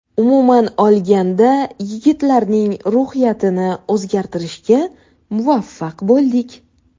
Umuman olganda yigitlarning ruhiyatini o‘zgartirishga muvaffaq bo‘ldik.